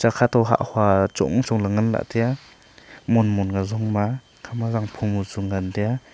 khato hah hua chongchong ley nganlah tiya monmon ka jongma ekhama zangphom chung ngantaiya.